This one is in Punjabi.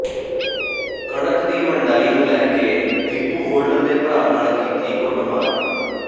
ਕਣਕ ਦੀ ਵੰਡਾਈ ਨੂੰ ਲੈ ਕੇ ਡੀਪੂ ਹੋਲਡਰ ਦੇ ਭਰਾ ਨਾਲ ਕੀਤੀ ਕੁੱਟਮਾਰ